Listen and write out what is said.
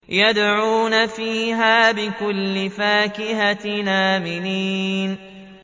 يَدْعُونَ فِيهَا بِكُلِّ فَاكِهَةٍ آمِنِينَ